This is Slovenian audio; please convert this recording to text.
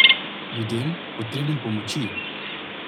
Ljudem, potrebnim pomoči.